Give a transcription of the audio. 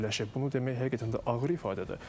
Bunu demək həqiqətən də ağır ifadədir.